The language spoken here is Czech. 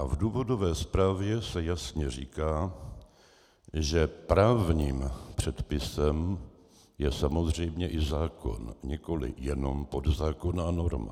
A v důvodové zprávě se jasně říká, že právním předpisem je samozřejmě i zákon, nikoli jenom podzákonná norma.